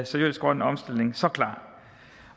seriøs grøn omstilling så klar